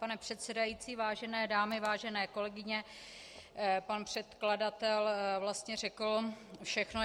Pane předsedající, vážené dámy, vážené kolegyně, pan předkladatel vlastně řekl všechno.